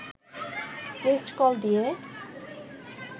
missed call দিয়ে